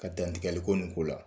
Ka dantigɛli ko nin ko la.